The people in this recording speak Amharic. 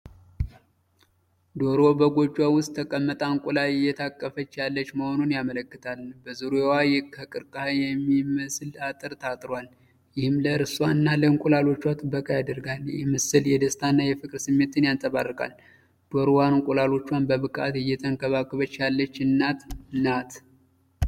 ዶሮ በጎጆዋ ውስጥ ተቀምጣ እንቁላል እየታቀፈች ያለች መሆኑን ያመለክታል። በዙሪያዋ ከቀርከሃ የሚመስል አጥር ታጥሯል፣ ይህም ለእርሷ እና ለእንቁላሎቿ ጥበቃ ያደርጋል። ይህ ምስል የደስታና የፍቅር ስሜትን ያንጸባርቃል። ዶሮዋ እንቁላሎቿን በብቃት እየተንከባከበች ያለች እናት ናት።